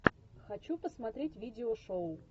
хочу посмотреть видео шоу